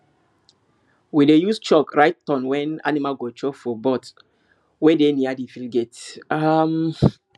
we dey use chalk write turn wen animal go chop for board wey dey near the field gate um